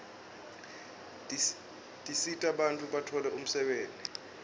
tisita bantfu batfole umsebenti